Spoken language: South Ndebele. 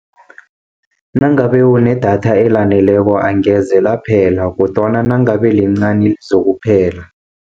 Nangabe unedatha elaneleko angeze laphela kodwana nangabe lincani lizokuphela.